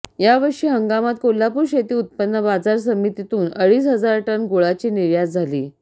यावर्षी हंगामात कोल्हापूर शेती उत्पन्न बाजार समितीतून अडीच हजार टन गुळाची निर्यात झाली